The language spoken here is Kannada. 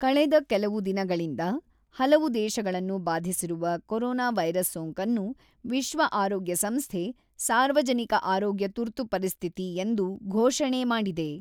ಕಳೆದ ಕೆಲವು ದಿನಗಳಿಂದ ಹಲವು ದೇಶಗಳನ್ನು ಬಾಧಿಸಿರುವ ಕೊರೋನಾ ವೈರಸ್ ಸೋಂಕನ್ನು ವಿಶ್ವ ಆರೋಗ್ಯ ಸಂಸ್ಥೆ, ಸಾರ್ವಜನಿಕ ಆರೋಗ್ಯ ತುರ್ತು ಪರಿಸ್ಥಿತಿ ಎಂದು ಘೋಷಣೆ ಮಾಡಿದೆ.